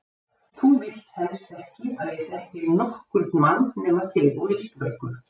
Þú vilt helst ekki að ég þekki nokkurn mann nema þig og Ísbjörgu.